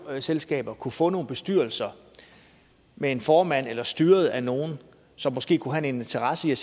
boligselskaber kunne få nogle bestyrelser med en formand eller blive styret af nogle som måske kunne have en interesse i at